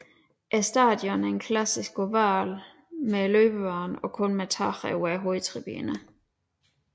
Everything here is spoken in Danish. Stadionet er en klassisk oval med løbebane og kun med tag over hovedtribunen